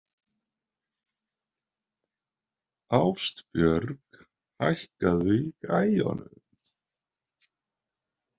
Ástbjörg, hækkaðu í græjunum.